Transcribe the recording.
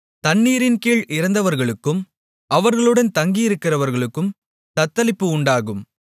தண்ணீரின் கீழ் இறந்தவர்களுக்கும் அவர்களுடன் தங்குகிறவர்களுக்கும் தத்தளிப்பு உண்டு